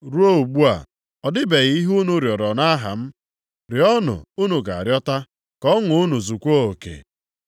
Ruo ugbu a, ọ dịbeghị ihe unu rịọrọ nʼaha m. Rịọọnụ, unu ga-arịọta, ka ọṅụ unu zukwaa oke.